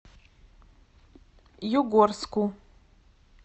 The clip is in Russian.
югорску